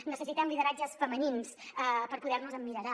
necessitem lideratges femenins per poder·nos·hi emmira·llar